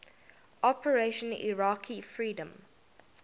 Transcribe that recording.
operation iraqi freedom